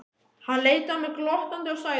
Hann leit á mig glottandi og sagði